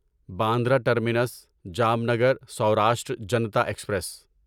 Bandra terminus Jamnagar Saurashtra Janta express